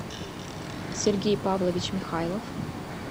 сергей павлович михайлов